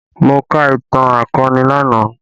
Mo ka ìtàn akọni lánàá